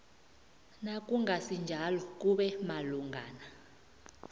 nakungasinjalo kube malungana